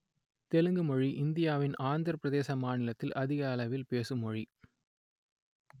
தெலுங்கு மொழி இந்தியாவின் ஆந்திரப் பிரதேச மாநிலத்தில் அதிக அளவில் பேசும் மொழி